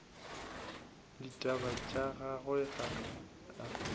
ditaba tša gagwe ga a